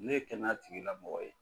Ne ye kɛnɛya tigi la mɔgɔ ye.